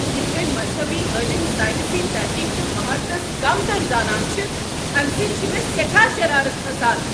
یتھ کٔنۍ مزہبی عٲلِم ساینسی تحقیق تہٕ مہارتس كمتر زانان چھ، امہ سۭتۍ چھٖ مےٚ سیٮ۪ٹھاہ شرارت کھسان۔